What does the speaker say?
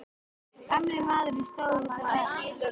Gamli maðurinn stóð úti á hlaði.